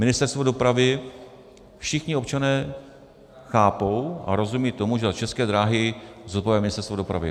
Ministerstvo dopravy, všichni občané chápou a rozumějí tomu, že za České dráhy zodpovídá Ministerstvo dopravy.